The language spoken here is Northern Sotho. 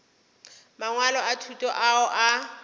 mangwalo a thuto ao a